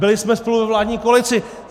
Byli jsme spolu ve vládní koalici.